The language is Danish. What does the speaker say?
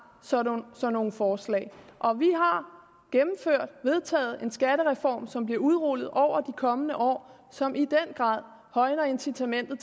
sådan nogle forslag og vi har vedtaget en skattereform som bliver udrullet over de kommende år og som i den grad højner incitamentet